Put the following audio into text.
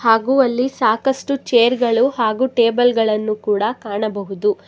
ಹಾಗೂ ಅಲ್ಲಿ ಸಾಕಷ್ಟು ಚೇರ್ ಗಳು ಹಾಗೂ ಟೇಬಲ್ ಗಳನ್ನು ಕೂಡ ಕಾಣಬಹುದು.